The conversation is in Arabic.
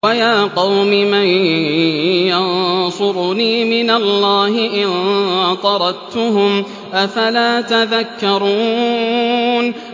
وَيَا قَوْمِ مَن يَنصُرُنِي مِنَ اللَّهِ إِن طَرَدتُّهُمْ ۚ أَفَلَا تَذَكَّرُونَ